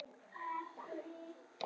Leikurinn er í beinni textalýsingu hér